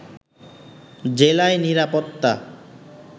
জেলায় নিরাপত্তা